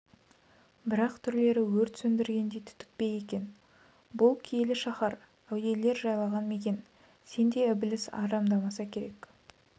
бірақ түрлері өрт сөндіргендей түтікпе екен бұл киелі шаһар әулиелер жайлаған мекен сендей ібіліс арамдамаса керек